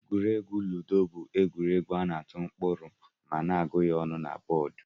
Egwuregwu lụdo bu egwuregwu ana atụ mkpụrụ ma na agu ya na bọd.